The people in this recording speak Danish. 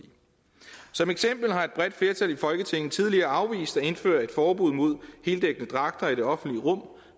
som eksempel har et bredt flertal i folketinget tidligere afvist at indføre et forbud mod heldækkende dragter i det offentlige rum